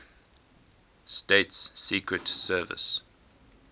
states secret service